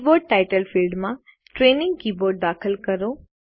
keyboard title ફિલ્ડમાં training keyboard દાખલ કરો